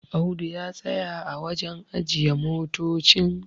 Audu ya tsaya a wajen ajiye motocin